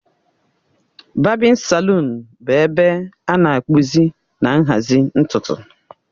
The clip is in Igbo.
Babin salụn bụ ebe a na-akpụzi na nhazi ntutu